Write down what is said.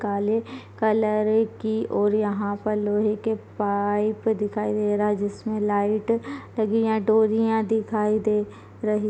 काले कलर की और यहाँ पर लोहे के पाइप दिखाई दे रहा जिसमें लाइट लगी है यहाँ डोरियाँ दिखाई दे रही--।